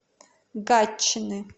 гатчины